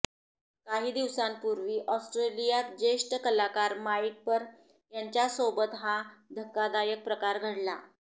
काही दिवसांपूर्वी ऑस्ट्रेलियातील ज्येष्ठ कलाकार माईक पर यांच्यासोबत हा धक्कादायक प्रकार घडला